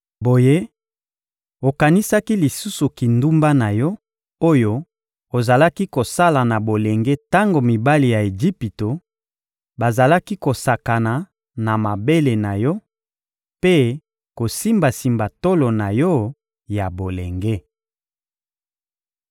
Boye, okanisaki lisusu kindumba na yo, oyo ozalaki kosala na bolenge tango mibali ya Ejipito bazalaki kosakana na mabele na yo mpe kosimbasimba tolo na yo ya bolenge.